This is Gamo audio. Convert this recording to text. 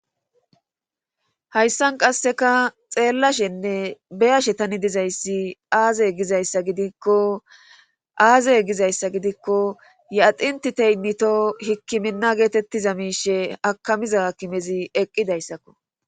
Hayssan qasseka xeellashenne beyashe tani dizayssi aaze gizayssa gidikko aazey gizayssa gidikko ye axintti teynnito hikkiminna geetettiza miishe akamiza akimezi eqqidayssakko.